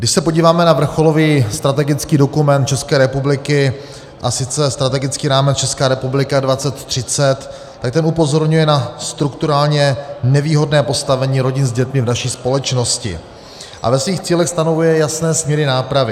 Když se podíváme na vrcholový strategický dokument České republiky, a sice Strategický rámec Česká republika 2030, tak ten upozorňuje na strukturálně nevýhodné postavení rodin s dětmi v naší společnosti a ve svých cílech stanovuje jasné směry nápravy.